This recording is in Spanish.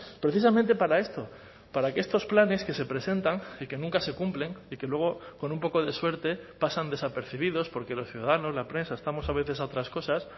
precisamente para esto para que estos planes que se presentan y que nunca se cumplen y que luego con un poco de suerte pasan desapercibidos porque los ciudadanos la prensa estamos a veces a otras cosas